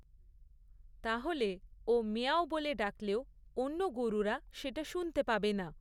তাহলে ও মিয়াঁও বলে ডাকলেও অন্য গরুরা সেটা শুনতে পাবে না।